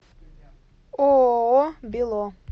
ооо бело